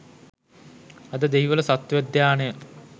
අද දෙහිවල සත්වෝද්‍යානය